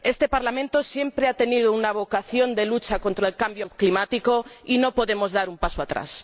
Este Parlamento siempre ha tenido una vocación de lucha contra el cambio climático y no podemos dar un paso atrás.